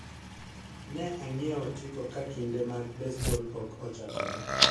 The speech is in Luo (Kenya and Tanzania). Ne ang'ieo otiko ka kinde mag besbol pok ochakore